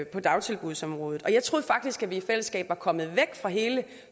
på dagtilbudsområdet jeg troede faktisk at vi i fællesskab var kommet væk fra hele